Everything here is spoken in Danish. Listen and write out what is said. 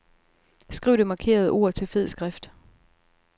Skriv det markerede ord til fed skrift.